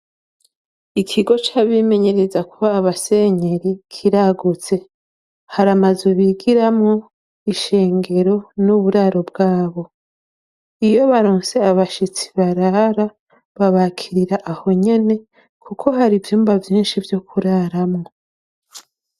ikigo c'abimenyereza kuba abasenyeri kiragutse. Haramazu bigiramwo ,ishengero, n'uburaro bwabo. Iyo baronse abashitsi barara, babakirira aho nyene kuko hari ivyumba vyinshi vyo kuraramwo.